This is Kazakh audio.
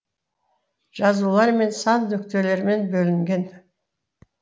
жазулар мен сан нүктелермен бөлінген